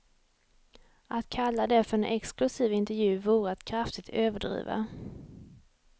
Att kalla det för en exklusiv intervju vore att kraftigt överdriva.